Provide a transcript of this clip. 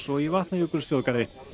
og í Vatnajökulsþjóðgarði